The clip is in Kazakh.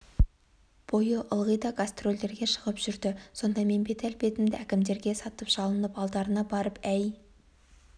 бойы ылғи да гастрольдерге шығып жүрді сонда мен бет-әлпетімді әкімдерге сатып жалынып алдарына барып әй